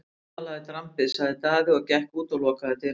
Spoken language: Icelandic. Þar talaði drambið, sagði Daði og gekk út og lokaði dyrunum.